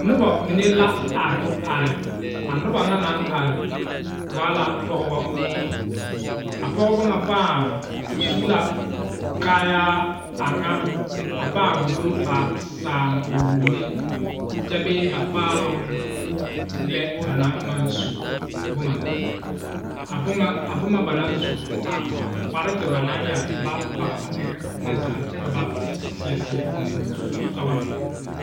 Noba mine la are are a noba ŋa naŋ are waa la pɔgebo a pɔgebo pãã su la kayaa a pãã wulo ba saakommine kyɛ bēē ba paaloŋ lɛ ba naŋ maŋ su boma a bomaa kpareti ba naŋ yɛre ba pɔge ba eŋne zaa kyɛ ka ba seɛ seɛ gondoŋ sɔgne